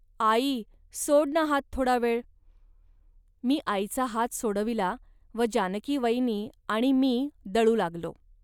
आई, सोड ना हात थोडा वेळ. .मी आईचा हात सोडविला व जानकीवयनी आणि मी दळू लागलो